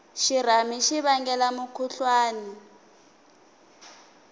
xirhami xi vangela mukhuhlwani